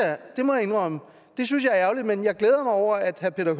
det må jeg indrømme jeg synes er ærgerligt men jeg glæder mig over at herre peter